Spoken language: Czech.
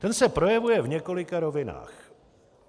Ten se projevuje v několika rovinách.